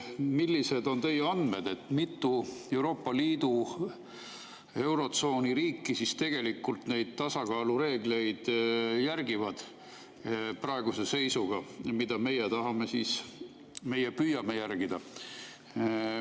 Millised on teie andmed, mitu Euroopa Liidu, eurotsooni riiki praeguse seisuga tegelikult järgib neid tasakaalureegleid, mida meie püüame järgida?